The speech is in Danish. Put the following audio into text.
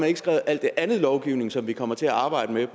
ikke skrevet al den anden lovgivning som vi kommer til at arbejde med